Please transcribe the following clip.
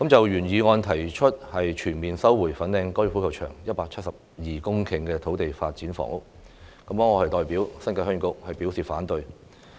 原議案提出全面收回粉嶺高爾夫球場172公頃土地用作發展房屋，我代表新界鄉議局表示反對。